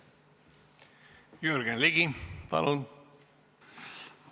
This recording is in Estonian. Jürgen Ligi, palun!